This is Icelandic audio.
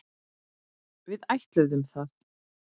Við ætluðum það.